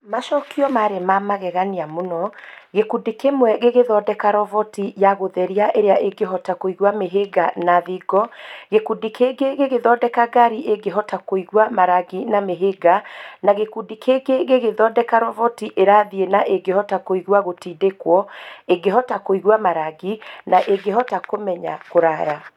Macokio maarĩ ma magegania mũno, gĩkundi kĩmwe gĩgĩthondeka roboti ya gũtheria ĩrĩa ĩngĩhota kũigua mĩhĩnga na thingo, gĩkundi kĩngĩ gĩgĩthondeka ngari ĩngĩhota kũigua marangi na mĩhĩnga, na gĩkundi kĩngĩ gĩgĩthondeka roboti ĩrathiĩ ĩrĩ na ĩngĩhota kũigua gũtindĩkwo, ĩngĩhota kũigua marangi, na ĩngĩhota kũmenya kũraya.